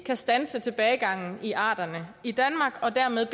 kan standse tilbagegangen i arterne i danmark og dermed